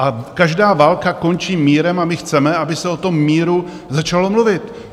A každá válka končí mírem a my chceme, aby se o tom míru začalo mluvit.